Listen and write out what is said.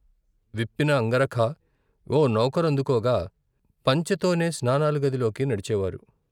విప్పిన అంగరఖా ఓ నౌకరందుకోగా పంచెతోనే స్నానాల గదిలోకి నడిచేవారు.